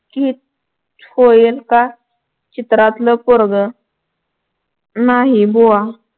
कीच हो एका चित्रातील पोरग नाही बुवा